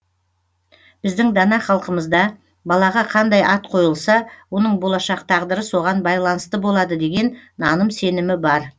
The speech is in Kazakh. біздің дана халқымызда балаға қандай ат қойылса оның болашақ тағдыры соған байланысты болады деген наным сенімі бар